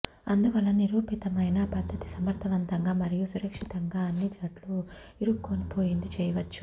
అందువలన నిరూపితమైన పద్ధతి సమర్ధవంతంగా మరియు సురక్షితంగా అన్ని జుట్టు ఇరుక్కొనిపోయింది చేయవచ్చు